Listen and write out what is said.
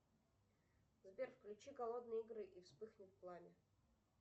сбер включи голодные игры и вспыхнет пламя